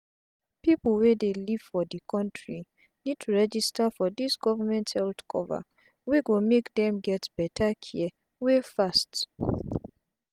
pipu wey dey live for d countri need to register for dis government health cover wey go make dem get beta care wey fast